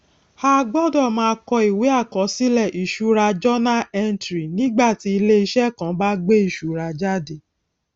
a gbọdọ máa kọ ìwé àkọsílẹ ìṣura journal entry nígbàtí iléiṣẹ kàn bá gbé ìṣura jáde